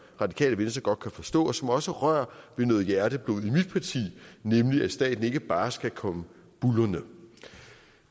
radikale venstre godt kan forstå og som også rører ved noget hjerteblod i mit parti nemlig at staten ikke bare skal komme buldrende